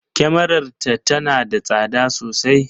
Kyamarar ta tana da tsada sosai.